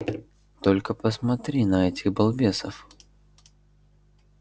только посмотри на этих балбесов